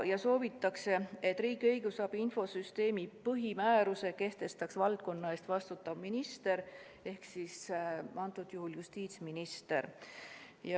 Soovitakse, et riigi õigusabi infosüsteemi põhimääruse kehtestab valdkonna eest vastutav minister ehk siis justiitsminister.